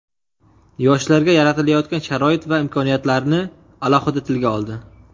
yoshlarga yaratilayotgan sharoit va imkoniyatlarni alohida tilga oldi.